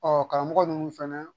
Ɔ karamɔgɔ ninnu fɛnɛ